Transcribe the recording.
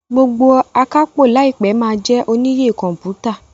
gbógbó Akápò láìpé ma jé oníyè kọmputa